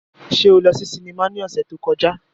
Ṣe o lọ si sinima ni ọsẹ to kọja?